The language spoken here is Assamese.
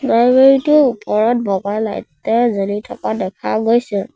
লাইব্ৰেৰী টোৰ ওপৰত বগা লাইটে জ্বলি থকা দেখা গৈছে।